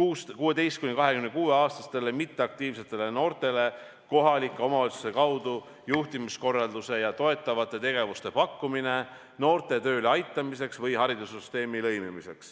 16–26-aastastele mitteaktiivsetele noortele kohalike omavalitsuste kaudu juhtumikorralduse ja toetavate tegevuste pakkumine noorte tööle aitamiseks või haridussüsteemi lõimimiseks.